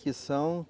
Que são?